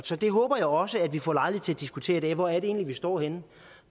så det håber jeg også at vi får lejlighed til at diskutere i dag hvor er det egentlig vi står henne